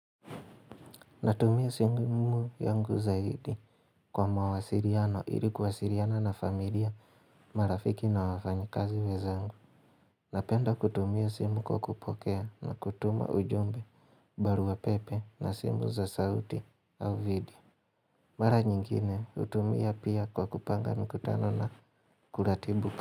Natumia simu yangu zaidi kwa mawasiliano ili kuwasiliana na familia marafiki na wafanyikazi wenzangu. Napenda kutumia simu kwa kupokea na kutuma ujumbe, barua pepe na simu za sauti au video. Mara nyingine hutumia pia kwa kupanga mikutano na kuratibika.